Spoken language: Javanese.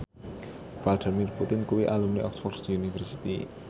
Vladimir Putin kuwi alumni Oxford university